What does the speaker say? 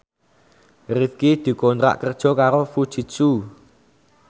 Rifqi dikontrak kerja karo Fujitsu